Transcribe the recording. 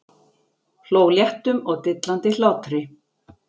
Hló léttum og dillandi hlátri.